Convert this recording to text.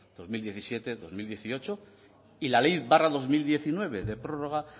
dos mil diecisiete dos mil dieciocho y la ley dos mil diecinueve de prórroga